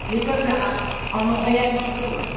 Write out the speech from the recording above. Les peuples arabes en ont réellement besoin.